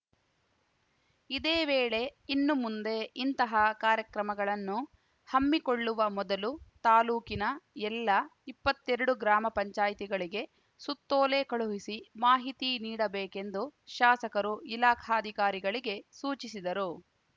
ಇದೇ ವೇಳೆ ಇನ್ನು ಮುಂದೆ ಇಂತಹ ಕಾರ್ಯಕ್ರಮಗಳನ್ನು ಹಮ್ಮಿಕೊಳ್ಳುವ ಮೊದಲು ತಾಲೂಕಿನ ಎಲ್ಲಇಪ್ಪತ್ತೆರಡು ಗ್ರಾಮ ಪಂಚಾಯತಿಗಳಿಗೆ ಸುತ್ತೋಲೆ ಕಳುಹಿಸಿ ಮಾಹಿತಿ ನೀಡುಬೇಕೆಂದು ಶಾಸಕರು ಇಲಾಖಾಧಿಕಾರಿಗಳಿಗೆ ಸೂಚಿಸಿದರು